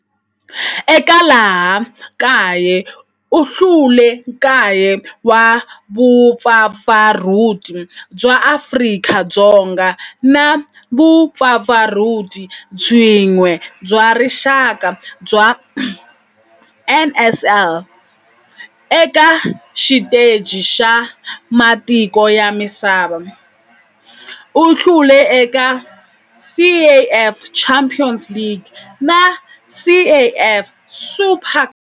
Eka laha kaya u hlule 9 wa vumpfampfarhuti bya Afrika-Dzonga na vumpfampfarhuti byin'we bya rixaka bya NSL. Eka xiteji xa matiko ya misava, u hlule eka CAF Champions League na CAF Super Cup.